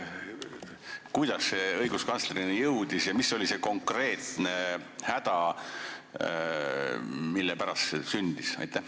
Kuidas see probleem õiguskantslerini jõudis ja mis oli see konkreetne häda, mille pärast see pöördumine sündis?